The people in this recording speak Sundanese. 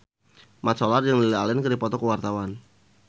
Mat Solar jeung Lily Allen keur dipoto ku wartawan